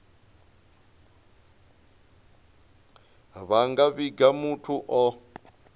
vha nga vhiga muthu o